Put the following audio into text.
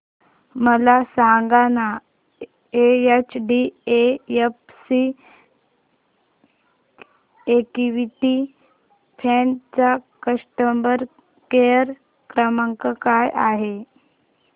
मला सांगाना HDFC equity fund चा कस्टमर केअर क्रमांक काय आहे